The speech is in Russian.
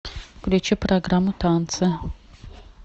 включи программу танцы